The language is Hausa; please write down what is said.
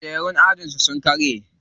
Kujerun ajin su sun karye.